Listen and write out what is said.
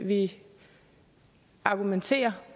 vi argumenterer